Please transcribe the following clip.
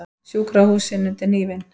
Sjúkrahúsin undir hnífinn